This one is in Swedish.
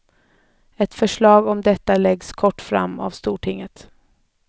Ett förslag om detta läggs inom kort fram för stortinget.